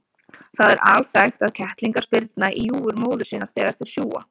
Það er alþekkt að kettlingar spyrna í júgur móður sinnar þegar þeir sjúga.